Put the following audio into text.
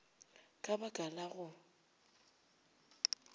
ka ba ka la go